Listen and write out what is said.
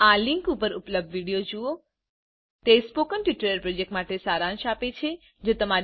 આ લીંક પર ઉપલબ્ધ વિડીયો જુઓ તે સ્પોકન ટ્યુટોરીયલ પ્રોજેક્ટનો સારાંશ આપે છે